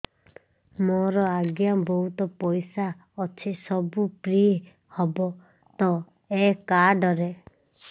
ମୋର ଆଜ୍ଞା ବହୁତ ପଇସା ଅଛି ସବୁ ଫ୍ରି ହବ ତ ଏ କାର୍ଡ ରେ